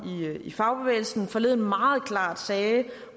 i fagbevægelsen forleden meget klart sagde